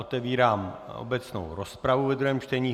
Otevírám obecnou rozpravu ve druhém čtení.